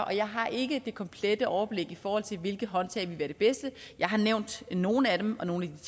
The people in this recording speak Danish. og jeg har ikke det komplette overblik i forhold til hvilke håndtag der ville være de bedste jeg har nævnt nogle af dem og nogle af